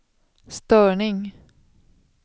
störning